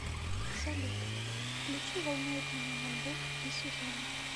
салют включи волнует меня мальбэк и сюзанна